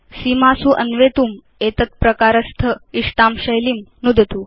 सीमासु अन्वेतुम् एतद् प्रकारस्थ इष्टां शैलीं नुदतु